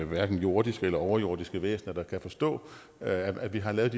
hverken jordiske eller overjordiske væsener der kan forstå at vi har lavet